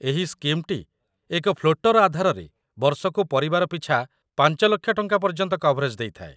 ଏହି ସ୍କିମ୍‌ଟି ଏକ ଫ୍ଲୋଟର୍‌ ଆଧାରରେ ବର୍ଷକୁ ପରିବାର ପିଛା ୫,୦୦,୦୦୦ ଟଙ୍କା ପର୍ଯ୍ୟନ୍ତ କଭରେଜ୍‌ ଦେଇଥାଏ |